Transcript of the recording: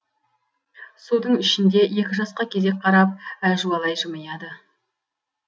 судың ішінде екі жасқа кезек қарап әжуалай жымияды